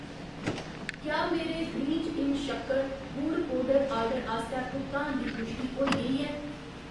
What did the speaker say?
क्या मेरे ग्रीन्ज इन शक्कर, गुड़ पौडर आर्डर आस्तै भुगतान दी पुश्टि होई गेई ऐ ?